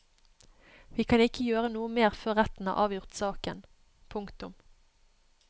Vi kan ikke gjøre noe mer før retten har avgjort saken. punktum